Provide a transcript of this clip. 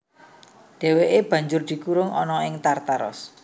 Dhèwèké banjur dikurung ana ing Tartaros